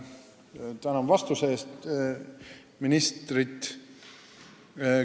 Tänan ministrit vastuste eest!